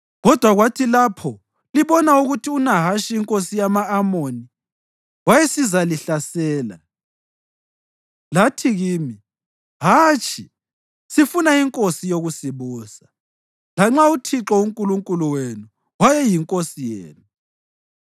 Kodwa kwathi lapho libona ukuthi uNahashi inkosi yama-Amoni wayesizalihlasela, lathi kimi, ‘Hatshi, sifuna inkosi yokusibusa,’ lanxa uThixo uNkulunkulu wenu wayeyinkosi yenu.